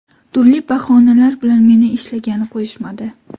Turli bahonalar bilan meni ishlagani qo‘yishmadi.